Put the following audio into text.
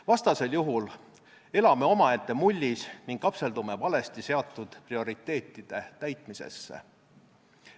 Vastasel juhul elame omaette mullis ning kapseldume valesti seatud prioriteetide täitmisesse.